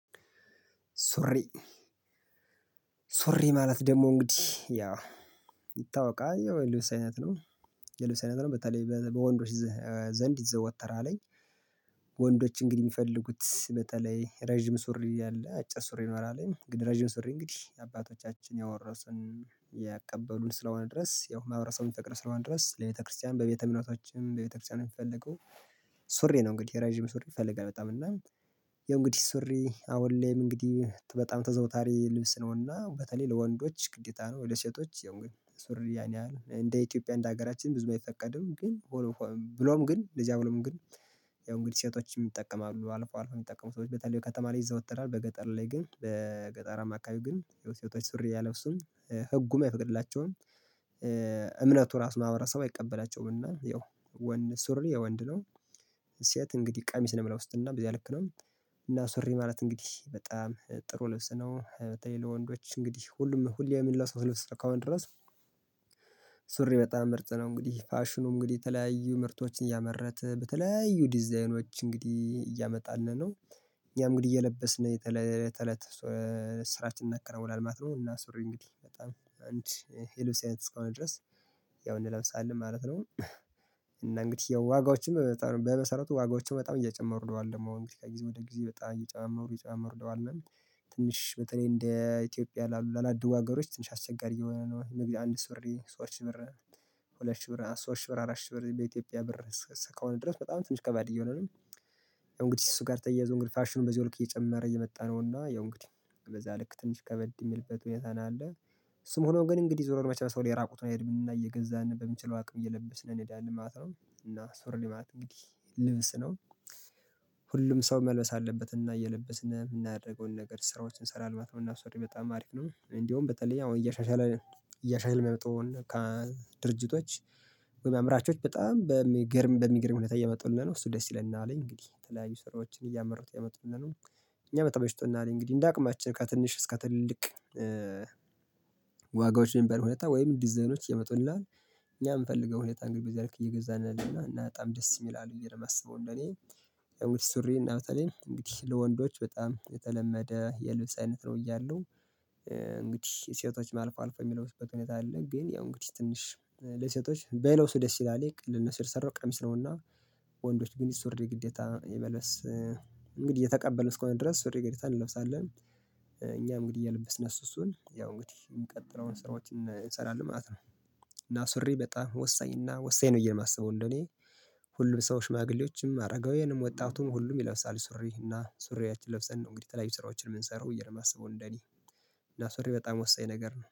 ሱሪ ሱሪ ማለት ደግሞ እንግዲህ ያ ይታወቃል የልብስ አይነት ነው የልብስ አይነት ነው በተለይ በወንዶች ዘንድ ይዘወተራልኝ። ወንዶች እንግዲህ ሚፈልጉት በተለይ ረጅም ሱሪ ያለ አጭር ሱሪ ይኖራል እንግዲህ ረጅም ሱሪ እንግዲህ የአባቶቻችን ያወረስን ያቀበሉን ስለሆነ ድረስ ያው ማሀበረሰቡ ፍቅር ስለሆነ ድረስ ለቤተክርስቲያን በቤተእምነቶችም በቤተክርስቲያን የሚፈልገው ሱሬ ነው። እንግዲህ ረጅም ሱሬ ይፈልጋል በጣም እና ያው እንግዲህ ሱሪ አሁነ ላይ እንግዲህ በጣም ተዘውታሪ ልብስ ነውና በተለይ ለወንዶች ግዴታ ነው። ለሴቶች ያው ግን ሱሪይ ያን ያህል እንደ ኢትዮጵያ እንደ ሀገራችን ብዙ አይፈቀድም ግን ብሎም ግን ለዚያም ብሎም ግን ያው እንግዲህ ሴቶችም ይጠቀማሉ አልፎ አልፎ የሚጠቀሙ ሰዎች በተለይ ከተማ ላይ ይዘወተራል በገጠር ላይ ግን በገጠራአማ ግን ሴቶች ሱሪ አይለብሱም ህጉም አይፈቅድላቸውም። እምነቱ ራሱ ማሀበረሰቡ አይቀበላቸዉም እና ያው ወንድ ሱሪ የወንድ ነው። ሱ ሴት እንግዲህ ቀሚስ ነው እሚለብሱት እና በዚያ ልክ ነው። እና ሱሪ ማለት እንግዲህ በጣም ጥሩ ልብስ ነው በተለይ ለወንዶች እንግዲህ ሁሉም ሁሌ እሚለብሱት ልብስ እስከሆን ድረስ። ሱሪ በጣም ምርጥ ነው እንግዲህ ፋሽኑ እንግዲህ የተለያዩ ምርቶችን እያመረተ በተለያዩ ዲዛይኖች እንግዲህ እያመጣልን ነው። እኛም እንግዲህ እየለበስን የተለተለት ስራችን እናከናዉናለን ማለት ነው። እና ሱሪ እንግዲህ በጣም አንድ የልብስ አይነት እስከሆነ ድረስ ያው እንለብሳለን ማለት ነው። እና እንግዲህ ያው ዋጋዎችም በመሰረቱ ዋጋዎችም በጣም እየጨመሩ ሄደዋል ደግሞ እንግዲ ከጊዜ ወደ ጊዜ በጣም እየጨማመሩ እየጨማመሩ ሄደዋልን ትንሽ በተለየ እንደ ኢትዮጵያ ላላደጉ አገሮች ትንሽ አስቸጋሪ እየሆኑ ነው። አንድ ሱሬ ሶስት ሺ ብር ሁለት ሺህ ብር ሶስት ሺህ ብር አራት ሺህ ብር በኢትዮጵያ ብር እስከሆነ ድረስ በጣም ትንሽ ከባድ እየሆነ ነው። ያው እንግዲህ እሱ ጋር ተያይዞ እንግዲህ ፋሽኑን በዚያው ልክ እየጨመረ እየመጣነውና ያው እንግዲህ በዛ ልክ ትንሽ ከበድ የሚልበት ሁኔታ ነው ያለ። እሱም ሆኖ ግን እንግዲህ ዞሮ መቼ የሰው ልጅ የራቁትን አይሄድም እየገዛን በምንችለው አቅም እየለበስን እንሄዳለን ማለት ነው። እና ሱሪ ማለት እንግዲህ ልብስ ነው። ሁሉም ሰው መልበስ አለበትና እየለበስን የምናደርገውን ነገር ስራዎችን እንሰራለን ማለት ነው። እና ሱሪ በጣም አሪፍ ነው እንዲያውም በተለይ አሁን እያሻሻለ እያሻሻልን የመጣዉን ድርጅቶች ወይም አምራቾች በጣም በሚገርም በሚገርም ሁኔታ እየመጡልን ነው እሱ ደስ ይለናል። እንግዲህ የተለያዩ ስራዎችን እያመሩት እያመጡልን ነው። እኛ ተመችቶናል እንግዲህ እንደ አቅማችን ከትንሽ እስከ ትልልቅ ዋጋዎች በሚባል ሁኔታ ወይም ዲዛይኖች ይመጡልናል። እኛ በምፈልገው ሁኔታ እንግዲህ በዚያ ልክ እየገዛን ያለን እና በጣም ደስ ይላል ብዬ ነው የማስበው። እንደኔ ያው ሱሪ እና በተለይ እንግዲህ ለወንዶች በጣም የተለመደ የልብስ አይነት ነው ብያለው። እንግዲህ ሴቶች አልፎ አልፎ የሚለብሰበት ሁኔታ አለ ግን ያው እንግዲህ ትንሽ ለሴቶች ባይለብሱ ደስ ይላል ለነሱ ነተሰራው ቀሚስ ነውና። ወንዶች ግን ሱሪ ግዴታ የመልበስ እንግዲህ የተቀበለን እስከሆን ድረስ ሱሪ ግዝተን እንለብሳለን። እኛም እንግዲይ እየለበስን ኦሱ እሱን ያው እንግዲህ የሚቀጥለዉን ስራዎች እንሰራለን ማለት ነው። እና ሱሪ በጣም ወሳኝ እና ወሳኝ ነው ብዬ የማስበው እንደኔ። ሁሉም ሰው ሽማግሌዎችም አረጋውያንም ወጣቱም ሁሉም ይለብሳል ሱሪ እና ሱሪያችን ለብሰን ነው እንግዲህ የተለያዩ ስራዎችን የምንሰራው ብዬ ነው የማስበው እንደኔ። እና ሱሬ በጣም ወሳኝ ነገር ነው